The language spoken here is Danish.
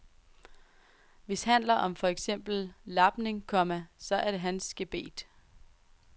Hvis handler om for eksempler lapning, komma så er det hans gebet. punktum